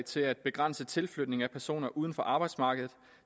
til at begrænse tilflytning af personer uden for arbejdsmarkedet